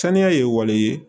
Saniya ye wale ye